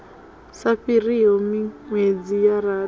sa fhiriho minwedzi ya rathi